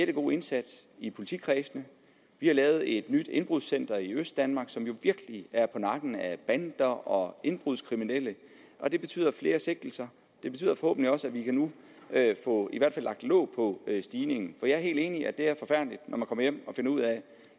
god indsats i politikredsene vi har lavet et nyt indbrudscenter i østdanmark som virkelig er på nakken af bander og indbrudskriminelle og det betyder flere sigtelser det betyder forhåbentlig også at vi nu kan få i hvert fald lagt låg på stigningen for jeg er helt enig i at det er forfærdeligt når man kommer hjem og finder ud af